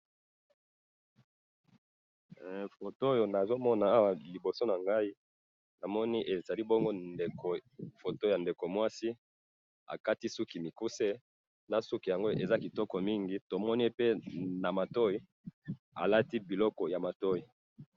photo oyo nazo mona awa liboso na ngai, namoni ezali bongo ndeko, photo ya ndeko mwasi, akati suki mikuse, na suki yango eza kitoko mingi, tomoni pe na matoyi, alati biloko na matoyi